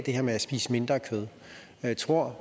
her med at spise mindre kød af tror